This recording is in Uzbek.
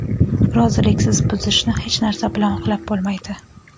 roziliksiz buzishni hech narsa bilan oqlab bo‘lmaydi.